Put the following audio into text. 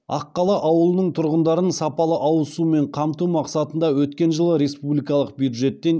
аққала ауылының тұрғындарын сапалы ауыз сумен қамту мақсатында өткен жылы республикалық бюджеттен